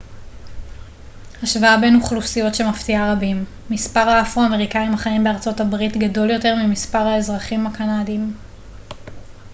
השוואה בין אוכלוסיות שמפתיעה רבים מספר האפרו-אמריקאים החיים בארה ב גדול יותר ממספר האזרחים הקנדים